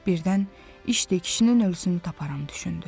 Birdən işdə kişinin ölüsünü taparam düşündü.